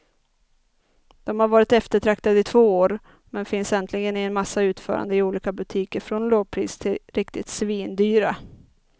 De har varit eftertraktade i två år, men finns äntligen i en massa utföranden i olika butiker från lågpris till riktigt svindyra.